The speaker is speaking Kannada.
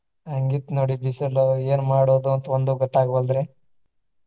ಹಂಗ ಇತ್ತ ನೋಡಿ ಬಿಸಿಲು ಏನು ಮಾಡೋದು ಅಂತ ಒಂದು ಗೊತ್ತ ಆಗ್ವಾಲ್ದ್ರಿ.